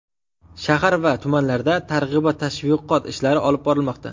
Shahar va tumanlarda targ‘ibot-tashviqot ishlari olib borilmoqda.